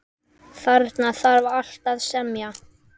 Þarna þarf alltaf að semja.